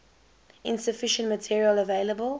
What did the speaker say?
insufficient material available